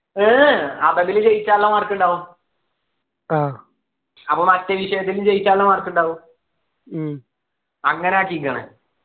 ഏർ അറബിയിൽ ജയിക്കാനുള്ള mark ഉണ്ടാകും അപ്പൊ മറ്റേ വിഷയത്തിൽ ജയിക്കാനുള്ള mark ഉണ്ടാവും അങ്ങനെ ആക്കിക്കണ്